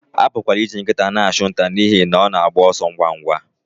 A pụkwara iji nkịta na-achụ nta n'ihi na ọ na-agba ọsọ ngwa ngwa